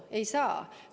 Ei saa!